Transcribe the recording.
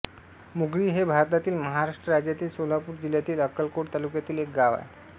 मुगळी हे भारतातील महाराष्ट्र राज्यातील सोलापूर जिल्ह्यातील अक्कलकोट तालुक्यातील एक गाव आहे